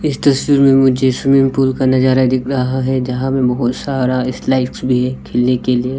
इस तस्वीर मे मुझे स्विमिंग पूल का नजारा दिख रहा है जहां पे बहोत सारा स्लाइड्स भी है खेलने के लिए।